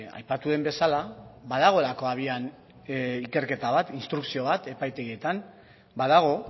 aipatu den bezala badagoelako abian ikerketa bat instrukzio bat epaitegietan badago